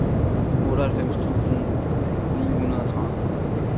otteoghalvfems tusind ni hundrede og tretten